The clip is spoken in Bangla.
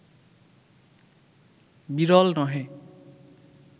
বিরল নহে